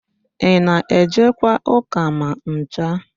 Ị na-ejekwa ụ́kà ma ncha?